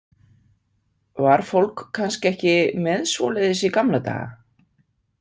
Var fólk kannski ekki með svoleiðis í gamla daga?